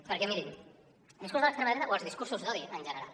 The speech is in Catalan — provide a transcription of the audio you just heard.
perquè mirin el discurs de l’extrema dreta o els discursos d’odi en general